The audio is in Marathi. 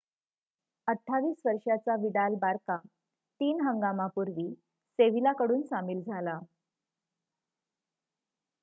28 वर्षाचा विडाल बार्का तीन 3 हंगामापूर्वी सेविला कडून सामील झाला